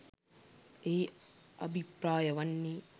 එහි අභිප්‍රාය වන්නේ